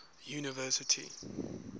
university